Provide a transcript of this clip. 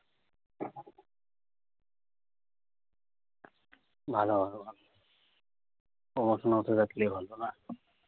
ভালো ভালো ভালো promotion হতে থাকলেই ভালো, না?